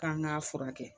K'an k'a furakɛ